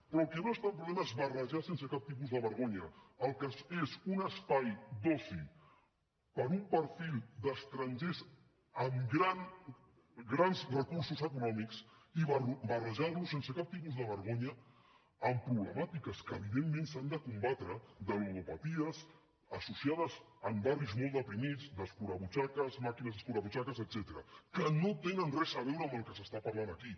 però el que no és tan problema és barrejar sense cap tipus de vergonya el que és un espai d’oci per a un perfil d’estrangers amb grans recursos econòmics barrejar lo sense cap tipus de vergonya amb problemàtiques que evidentment s’han de combatre de ludopaties associades amb barris molt deprimits d’escurabutxaques màquines escurabutxaques etcètera que no tenen res a veure amb el que s’està parlant aquí